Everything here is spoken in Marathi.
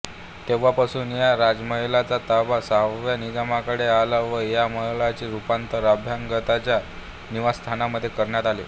तेव्हापासून या राजमहालाचा ताबा सहाव्या निजामाकडे आला व या महालाचे रुपांतर अभ्यागतांच्या निवासस्थानामध्ये करण्यात आले